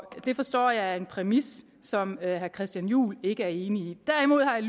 det forstår jeg er en præmis som herre christian juhl ikke er enig i derimod har jeg